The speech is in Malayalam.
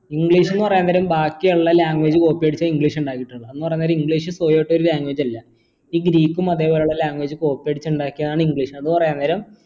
english ന്ന് പറയുന്നരം ബാക്കി എല്ലാ language copy അടിച്ച english ഇണ്ടായത് ട്ടോ എന്ന് പറയുന്നേരം english ഒരു language അല്ല ഈ ഗ്രീക്കും അത് പോലുള്ള language copy അടിച്ച് ഇണ്ടാക്കിയതാണ് english